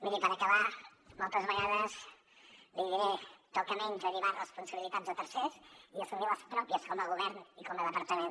miri per acabar moltes vegades l’hi diré toca menys derivar responsabilitats a tercers i assumir les pròpies com a govern i com a departament